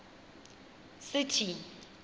city